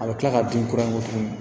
A bɛ tila ka bin kura in tuguni